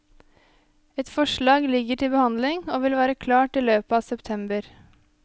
Et forslag ligger til behandling, og vil være klart i løpet av september.